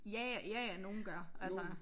Ja ja ja ja nogen gør altså